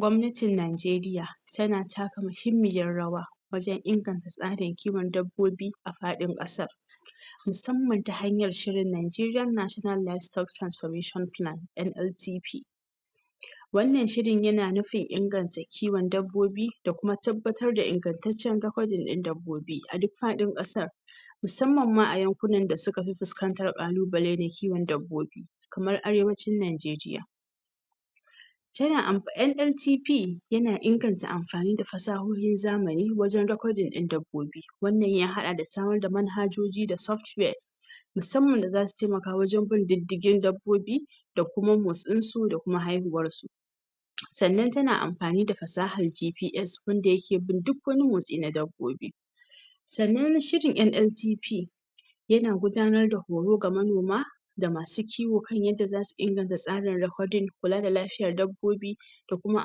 gwamnatin Nigeriya tana taka muhimmiyar rawa wajan inganta tsarin kowon dabbobi a fadin kasar musamman ta hanyar shiri Nigeria national livestock transformation plan (NLTP) wannan shirin yana nufin inganta kiwon dabbobi da kuma tabbatar da ingantaccen recording din dabbobi aduk fadin kasar mussamman ma a yankunan da sukafi fuskantan kalubale da kiwon dabbobi kamar arewacin Nigeriya tana am NLTP yana inganta amfani da fasahohin na zamani wajan recordin din dabbobi wannan ya hada da samarda manhajoji da software mussanman da zasu taimaka wajan bin diddigin dabbobi da kuma motsinsu da kuma haihuwarsu sa'anan tana amfanida fasahar kifi yan dayake bin duk wani motsi na dabbobi sa'anan shirin NLTP yana gudanar da horo ga manoma da masu kiwo kan yadda zasu inganta tsarin recording kulada lafiyar dabbobi da kuma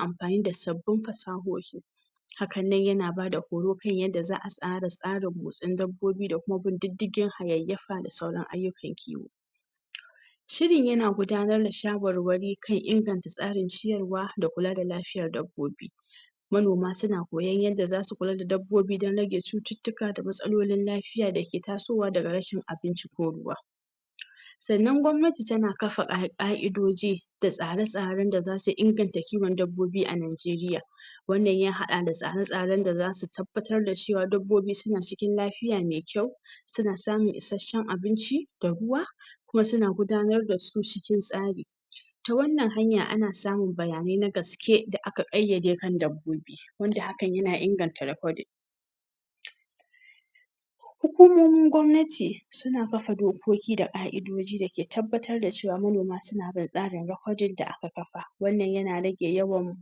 amfani da sabbin fasahohi hakan nan yana bada horo kan yanda za'a tsara tsarin musan dabbobi da kuma bin diddigi hayayyafa da sauran ayyukan kiwo shirin yana gudanar da shawarwari kan inganta tsarin ciyarwa da kulada lafiyar dabbobi manoma suna koyan yanda zasu kulada dabbobi dan rage cututtuka da matsalolin lafiya dake tasowa daga rashin abinci ko ruwa sa 'anan gwamnati tana kafa ka ka'idoji da tsare tsaren da zasu inganta dabbobi a Nigeriya wannan ya hada da tsare tsaren da zasu tabbatar cewan dabbobi suna cikin lafiya me kyau suna samun isasshen abinci da ruwa kuma suna gudanardasu cikin tsari ta wannan hanya ana samun bayanai na gaske da aka kayyade wa dabbobi wanda haka yana inganta recording hukumomin gwamnati suna kafa dokoki da hukumo ka'idoji dake tabbatarda cewa manoma suna da tsarin recording wanda aka kafa wannan yana rage yawan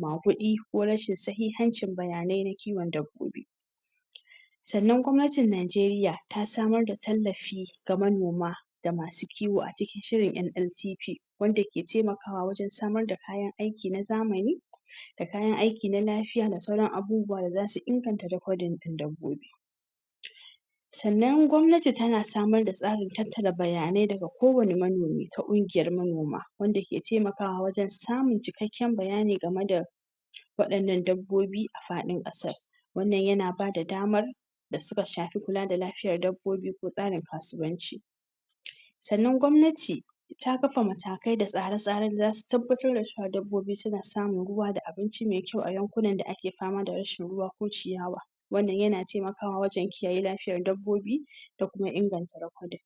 magudi ko rashin sahihancin bayanai na kiwon dabbobi sa'anan kuma gwamnatin Nigeriya ta samoda tallafi ga manoma da masu kiwo a cikin shirin NLTP wanda ke taimakawa wajan samarda kayan aiki na zamani da kayan aiki na lafiya da sauran abubuwan da zasu inaganta recording din dabbobi sa'anan gwamnati tana samarda tsarin tattara bayanai daga ko wani manomi ta kungiyar manoma wanda ke taimakawa wajan samun da cikekken bayani gameda wadannan dabbobi a fadin kasar wannan yana bada damar dasuka shafi kulada lafiyar dabbobi ko tsarin kasuwanci sa'anan gwamnati ta kafa matakai da tasare tsaren da zata tabbattar da cewa dabbobi suna samun ruwa da abinci me kyau ayankunanda ake fama da rashin ruwa ko ciyawa wannan yana taimakawa wajan kiyaye lafiyan dabbobi da kuma inganta recording